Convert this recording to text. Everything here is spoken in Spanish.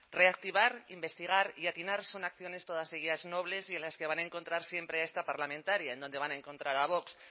reactivar investigar y atinar son acciones todas seguidas nobles y en las que van encontrar siempre a esta parlamentaria donde van a encontrar a vox